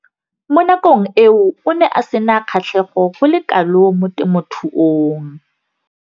Mo nakong eo o ne a sena kgatlhego go le kalo mo temothuong.